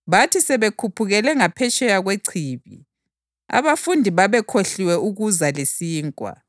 Bathi sebekhuphukele ngaphetsheya kwechibi, abafundi babekhohliwe ukuza lesinkwa.